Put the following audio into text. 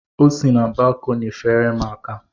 O si na balkọni feere m aka.